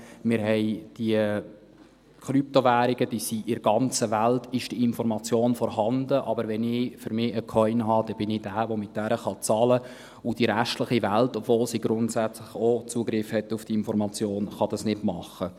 Wir haben diese Krypto-Währungen, über die in der ganzen Welt diese Information vorhanden ist, wenn ich aber für mich einen Coin habe, dann bin ich der, der mit diesem Coin bezahlen kann, und die restliche Welt – obwohl sie grundsätzlich auch Zugriff hat auf diese Information – kann das nicht machen.